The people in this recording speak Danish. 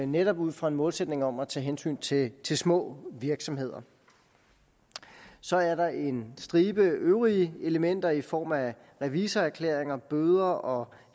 netop ud fra en målsætning om at tage hensyn til til små virksomheder så er der en stribe øvrige elementer i form af revisorerklæringer bøder og